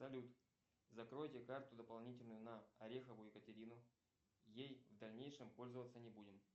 салют закройте карту дополнительную на орехову екатерину ей в дальнейшем пользоваться не будем